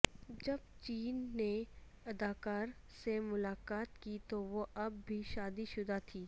جب جین نے اداکار سے ملاقات کی تو وہ اب بھی شادی شدہ تھی